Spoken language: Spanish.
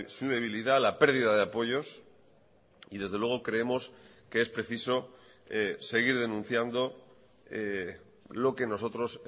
su debilidad la pérdida de apoyos y desde luego creemos que es preciso seguir denunciando lo que nosotros